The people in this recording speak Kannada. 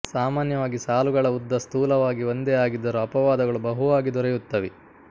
ಸಾಮಾನ್ಯವಾಗಿ ಸಾಲುಗಳ ಉದ್ದ ಸ್ಥೂಲವಾಗಿ ಒಂದೇ ಆಗಿದ್ದರೂ ಅಪವಾದಗಳು ಬಹುವಾಗಿ ದೊರೆಯುತ್ತವೆ